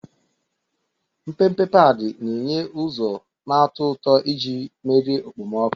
Mpempe padi na-enye ụzọ na-atọ ụtọ iji merie okpomọkụ.